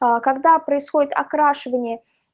аа когда происходит окрашивание